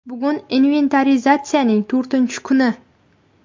Bugun inventarizatsiyaning to‘rtinchi kuni.